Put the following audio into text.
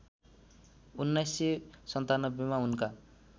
१९९७ मा उनका